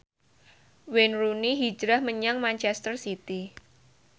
Wayne Rooney hijrah menyang manchester city